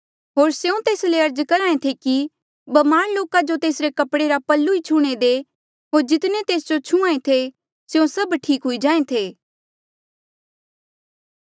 होर स्यों तेस ले अर्ज करहा ऐें थे कि ब्मार लोका जो तेसरे कपड़े रा पल्लू ई छूह्णे दे होर जितने तेस जो छुहां ऐें थे स्यों सब ठीक हुई जाहें थे